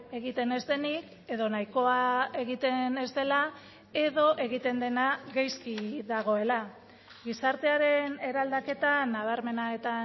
egiten ez denik edo nahikoa egiten ez dela edo egiten dena gaizki dagoela gizartearen eraldaketa nabarmena eta